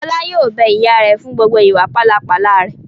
Fọlá yóò bẹ ìyá rẹ̀ fún gbogbo ìwà pálapàla rẹ̀!